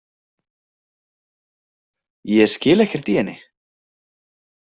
Ég skil ekkert í henni.